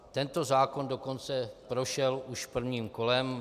Tento zákon dokonce prošel už prvním kolem.